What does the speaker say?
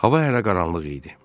Hava hələ qaranlıq idi.